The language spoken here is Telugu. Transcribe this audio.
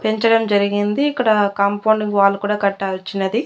పెంచడం జరిగింది ఇక్కడ కాంపౌండు కు వాల్ కూడా కట్టారు చిన్నది.